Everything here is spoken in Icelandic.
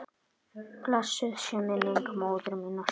Blessuð sé minning móður minnar.